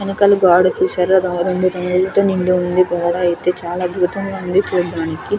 వెనకాల గోడ చూశారా ఆరెంజ్ రంగుతో నిండి ఉంది. గోడ అయితే చాల అద్భుతంగా ఉంది.